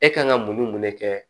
E kan ka mun ni mun de kɛ